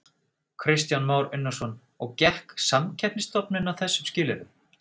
Kristján Már Unnarsson: Og gekk Samkeppnisstofnun að þessum skilyrðum?